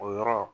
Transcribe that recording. O yɔrɔ